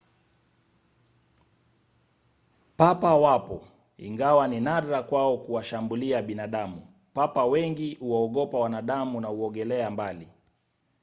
papa wapo ingawa ni nadra kwao kuwashambulia binadamu. papa wengi huwaogopa wanadamu na huogelea mbali